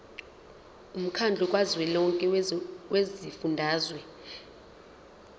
womkhandlu kazwelonke wezifundazwe